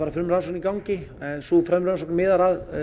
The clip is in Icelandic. frumrannsókn í gangi en sú rannsókn miðar að